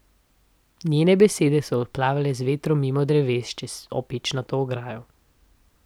Njene besede so odplavale z vetrom mimo dreves, čez opečnato ograjo.